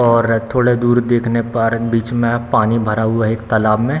और थोड़ा दूर देखने पर बीच में पानी भरा हुआ है एक तालाब में।